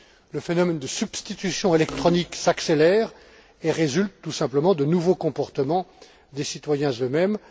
Le phénomène de substitution électronique s'accélère et résulte tout simplement de nouveaux comportements des citoyens eux mêmes.